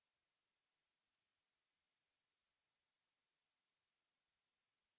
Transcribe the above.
और enter बटन दो बार दबाइए